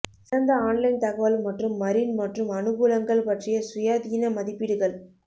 சிறந்த ஆன்லைன் தகவல் மற்றும் மரின் மற்றும் அனுகூலங்கள் பற்றிய சுயாதீன மதிப்பீடுகள்